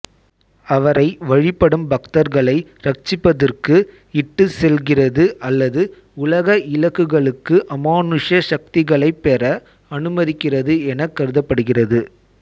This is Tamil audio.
அவரை வழிபடும் பக்தர்களை இரட்சிப்பிற்கு இட்டுச் செல்கிறது அல்லது உலக இலக்குகளுக்கு அமானுஷ்ய சக்திகளைப் பெற அனுமதிக்கிறது எனக் கருதப்படுகிறது